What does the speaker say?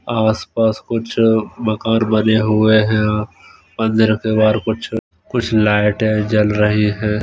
आस पास कुछ मकान बने हुए हैं मंदिर के बाहर कुछ लाइटे जल रही हैं।